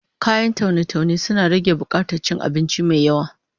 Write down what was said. Kayan taune-taune suna rage bukatar cin abinci mai yawa